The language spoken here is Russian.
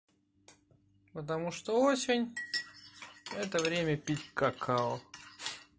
потому что осень это время пить какао